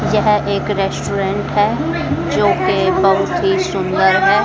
यह एक रेस्टोरेंट है जो कि बहुत ही सुंदर है।